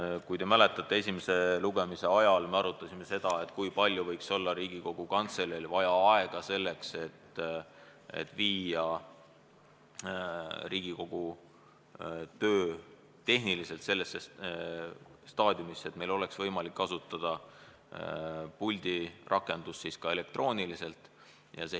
Nagu te mäletate, esimese lugemise ajal me arutasime seda, kui palju võiks Riigikogu Kantseleil minna aega selleks, et viia Riigikogu töö tehniliselt sellisesse staadiumisse, et meil oleks võimalik kasutada puldirakendust ka elektrooniliselt.